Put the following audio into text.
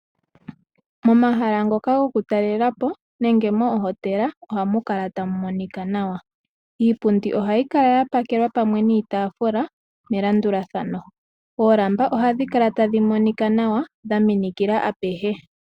Moma hala ngoka goku talela po nenge moohotela ohamu kala tamu monika nawa iipundi ohayi kala ya pakelwa pamwe niitafula melandula thano oolamba ohadhi kala tadhi monika nawa dha minikila apehe.